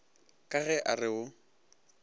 ka ge a re o